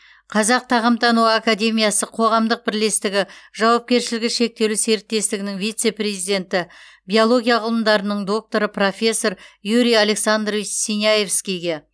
қазақ тағамтану академиясы қоғамдық бірлестігі жауапкершілігі шектеулі серіктестігінің вице президенті биология ғылымдарының докторы профессор юрий александрович синявскийге